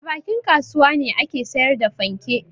A bakin kasuwa ne ake sayar da fanke.